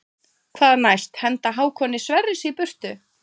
Hvað næst henda Hákoni Sverris í burtu?